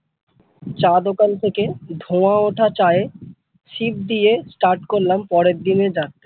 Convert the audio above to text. চা দোকান থেকে ধোঁয়া ওঠা চায়ে sip দিয়ে start করলাম পরের দিনের যাত্রা।